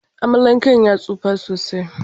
Amalanken ya tsufa sosai.